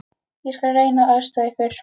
Ég skal reyna að aðstoða ykkur.